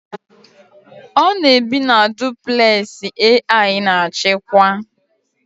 Ọ na-ebi na duplẹsị AI na-achịkwa